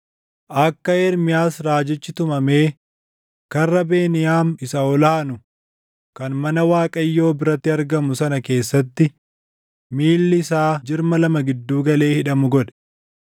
akka Ermiyaas raajichi tumamee Karra Beniyaam isa ol aanu kan mana Waaqayyoo biratti argamu sana keessatti miilli isaa jirma lama gidduu galee hidhamu godhe.